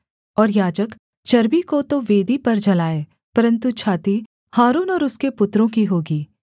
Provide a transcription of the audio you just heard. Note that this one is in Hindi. और याजक चर्बी को तो वेदी पर जलाए परन्तु छाती हारून और उसके पुत्रों की होगी